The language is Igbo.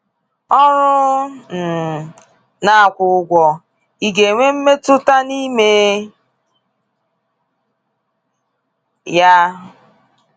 Ọrụ um na akwụ ụgwọ Ị̀ ga-enwe Mmetụta n’ime ya?